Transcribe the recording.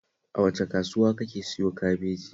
A wace kasuwa kake siyo kabeji?